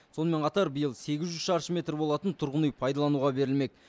сонымен қатар биыл сегіз жүз шаршы метр болатын тұрғын үй пайдалануға берілмек